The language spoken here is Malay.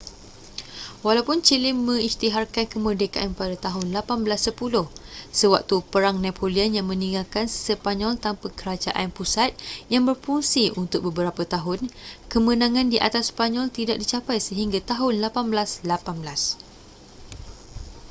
walaupun chile mengisytiharkan kemerdekaan pada tahun 1810 sewaktu perang napoleon yang meninggalkan sepanyol tanpa kerajaan pusat yang berfungsi untuk beberapa tahun kemenangan di atas sepanyol tidak dicapai sehingga tahun 1818